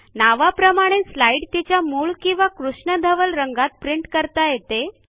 नावाप्रमाणेच स्लाईड तिच्या मूळ किंवा कृष्णधवल रंगात प्रिंट करता येते